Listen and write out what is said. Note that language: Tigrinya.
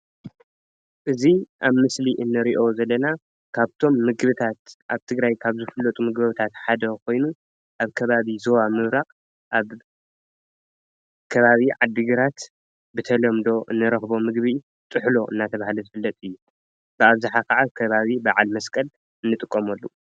እዙይ ኣብ ምስሊ እንሪኣ ዘለና ካብቶም ምግብታት ኣብ ትግራይ ካብ ዝፍለጡ ምግብታት ሓደ ካይኑ ኣብ ከባቢ ዛባ ምብራቕ ኣብ ከባቢ ዓዲ ግራት ብተለምዶ እንረክቦ ምግቢ ጥሕሎ እናተባህለ ዝፍለጥ እዩ። ብኣብዝሓ ከዓ ኣብ ከባቢ ባዓል መስቀል እንጥቀመሉ።